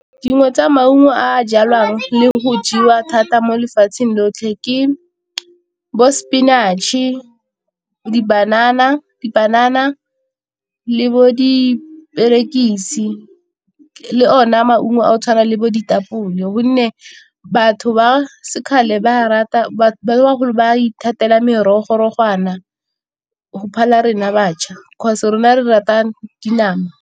Dingwe tsa maungo a a jalwang le go jewa thata mo lefatsheng lotlhe ke bo spinach-e, di-banana, dipanana le bo diperekisi le ona maungo a go tshwana le bo ditapole, gonne batho ba se kgale ba rata bagolo ba ithatela go phala rena batjha 'cause rona re rata dinama.